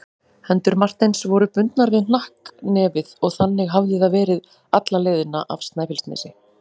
Hendur Marteins voru bundnar við hnakknefið og þannig hafði það verið alla leiðina af Snæfellsnesi.